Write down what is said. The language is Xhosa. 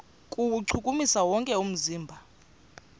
kuwuchukumisa wonke umzimba